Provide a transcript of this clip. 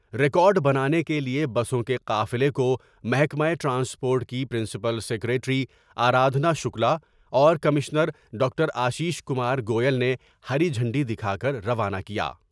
Record بنانے کے لئے بسوں کے قافلے کومحکمہ ٹرانسپورٹ کی پرنسپل سکریٹری آرادھنا شکلا اور commissioner doctor Ashish Kumar Goyal نے ہری جھنڈی دکھا کر روانہ کیا ۔